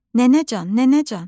Nənəcan, nənəcan!